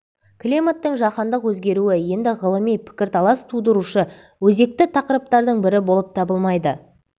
климаттың жаһандық өзгеруі енді ғылыми пікірталас тудырушы өзекті тақырыптардың бірі болып табылмайды